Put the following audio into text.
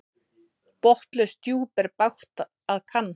Botnlaust djúp er bágt að kann.